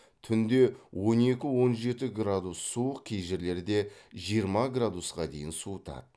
түнде он екі он жеті градус суық кей жерлерде жиырма градусқа дейін суытады